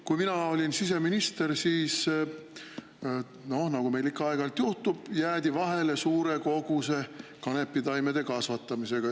Kui mina olin siseminister, siis, nagu meil ikka aeg-ajalt juhtub, jäädi vahele suure koguse kanepitaimede kasvatamisega.